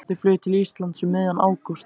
Þau flugu til Íslands um miðjan ágúst.